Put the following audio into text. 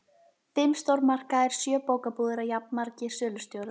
Fimm stórmarkaðir, sjö bókabúðir og jafnmargir sölustjórar.